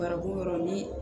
Bariko yɔrɔ ni